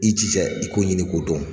I jija i ko ɲini ko dɔn.